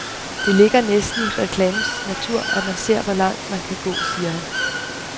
Det ligger næsten i reklamens natur, at man ser hvor langt man kan gå, siger han.